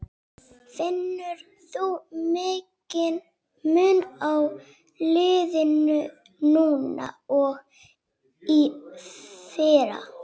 Finnur þú mikinn mun á liðinu núna og í fyrra?